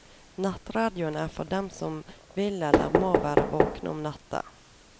Nattradioen er for dem som vil eller må være våkne om natta.